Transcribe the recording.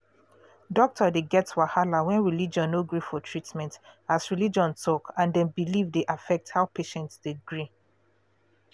doctor dey get wahala when religion no gree for treatment as religion talk and dem belief de affect how patient de gree